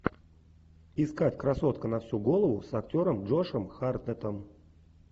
искать красотка на всю голову с актером джошем хартнеттом